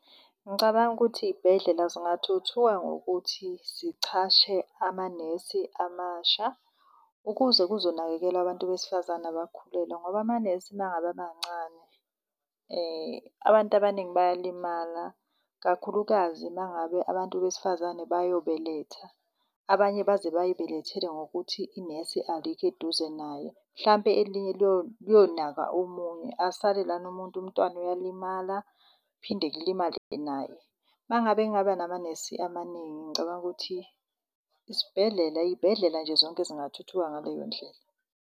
Ngicabanga ukuthi iy'bhedlela zingathuthuka ngokuthi zichashe amanesi amasha ukuze kuzonakekelwa abantu besifazane abakhulelwe ngoba amanesi nangabe abancane abantu abaningi bayalimala, kakhulukazi mangabe abantu besifazane bayobeletha. Abanye baze bayibelethele ngokuthi inesi alikho eduze naye. Mhlampe elinye liyonaka omunye asale lana umuntu, umntwana uyalimala kuphinde kulimale naye. Mangabe kungaba namanesi amaningi ngicabanga ukuthi isibhedlela, iy'bhedlela nje zonke zingathuthuka ngaleyo ndlela.